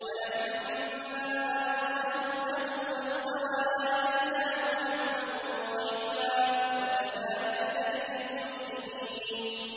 وَلَمَّا بَلَغَ أَشُدَّهُ وَاسْتَوَىٰ آتَيْنَاهُ حُكْمًا وَعِلْمًا ۚ وَكَذَٰلِكَ نَجْزِي الْمُحْسِنِينَ